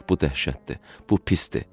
Bax bu dəhşətdir, bu pisdir.